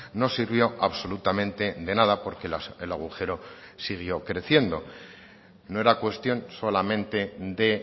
no sirvió absolutamente de nada porque el agujero siguió creciendo no era cuestión solamente de